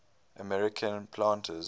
american planters